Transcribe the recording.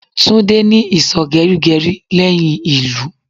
Tolu ní ìsò geri geri leyin ilu